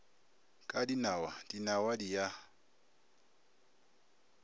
ka dinawa dinawa di a